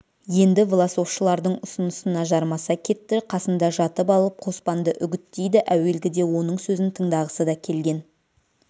енді власовшылардың ұсынысына жармаса кетті қасында жатып алып қоспанды үгіттейді әуелгіде оның сөзін тыңдағысы да келген